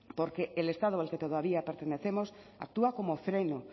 porque el estado al que pertenecemos actúa como freno